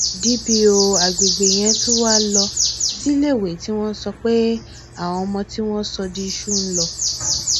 dópò àgbègbè yẹn tún wáá lọ síléèwé tí wọn sọ pé àwọn ọmọ tí wọn sọ di iṣu ń lọ